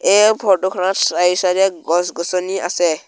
এই ফটো খনত চাৰি চাইড এ গছ গছনি আছে।